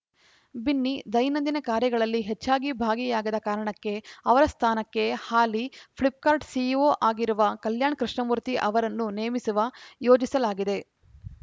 ಬಿನ್ನಿ ದೈನಂದಿನ ಕಾರ್ಯಗಳಲ್ಲಿ ಹೆಚ್ಚಾಗಿ ಭಾಗಿಯಾಗದ ಕಾರಣಕ್ಕೆ ಅವರ ಸ್ಥಾನಕ್ಕೆ ಹಾಲಿ ಫ್ಲಿಪ್‌ಕಾರ್ಟ್‌ ಸಿಇಒ ಆಗಿರುವ ಕಲ್ಯಾಣ್‌ ಕೃಷ್ಣಮೂರ್ತಿ ಅವರನ್ನು ನೇಮಿಸುವ ಯೋಜಿಸಲಾಗಿದೆ